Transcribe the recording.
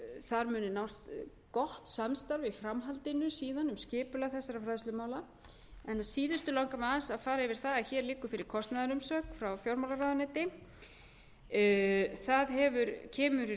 þar muni nást gott samstarf í framhaldinu síðan um skipulag þessara fræðslumála að síðustu langar mig aðeins að fara yfir það að hér liggur fyrir kostnaðarumsögn frá fjármálaráðuneyti það kemur í raun